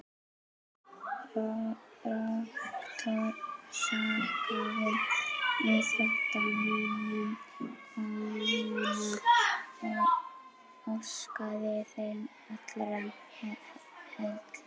Rektor þakkaði íþróttamönnum komuna og óskaði þeim allra heilla.